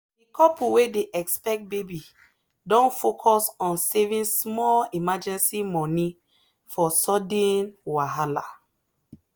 the couple wey dey expect baby don focus on saving small emergency money for sudden wahala.